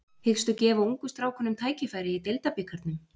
Hyggstu gefa ungu strákunum tækifæri í Deildabikarnum?